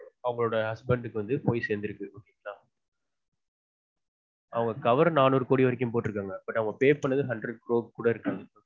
அவங்களொட husband க்கு வந்து போய் சேர்ந்துருக்கு அதான் அவங்க cover நானூறு கோடி வரைக்கும் போட்டுருந்தாங்க but அவங்க pay பண்ணது hundred crores கூட இருக்காது